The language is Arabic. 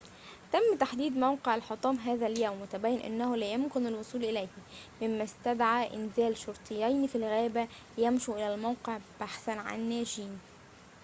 تم تحديد موقع الحطام هذا اليوم وتبين أنه لا يمكن الوصول إليه مما استدعى إنزال شرطيين في الغابة ليمشوا الى الموقع بحثاً عن ناجين